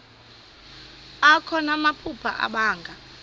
akho namaphupha abanga